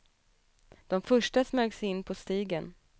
De första smög sig in på stigen.